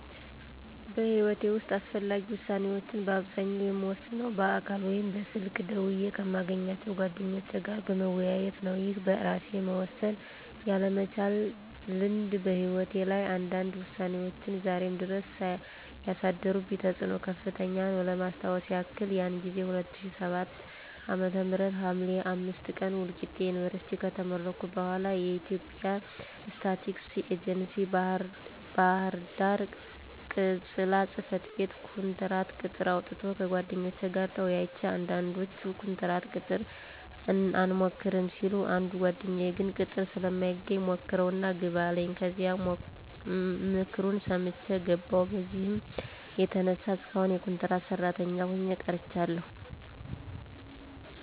በሕይወቴ ዉስጥ አስፈላጊ ዉሳኔዎችን በአብዛኛው የምወስነው በአካል ወይም በስልክ ደውየ ከማገኛቸው ጓደኞቼ ጋር በመወያየት ነው። ይህ በእራሴ መወሰን ያለ መቻል ልምድ በህይወቴ ላይ አንዳንድ ውሳኔዎች ዛሬም ድረስ ያሳደሩብኝ ተፅኖ ከፍተኛ ነው። ለማስታወስ የክል ያን ጊዜ 2007 ዓ.ም ሀምሌ 05 ቀን ወልቂጤ ዩኒቨርስቲ ከተመረኩ በኋለ የኢትዬጵያ ስታቲስቲክስ ኤጀንሲ ባህርዳር ቅ/ጽ/ቤት ኮንትራት ቅጥር አውጥቶ ከጓደኞቼ ጋር ተወያይቼ አንዳንዶቹ ኮንትራት ቅጥር አንሞክርም ሲሉ አንዱ ጓደኛየ ግን ቅጥር ስለማይገኝ ሞክረው እና ግባ አለኝ ከዚያም ምክሩን ሰምቸ ገባው። በዚህም የተነሳ እስካሁን የኮንትራት ሰራተኛ ሆኘ ቀርቻለሁ።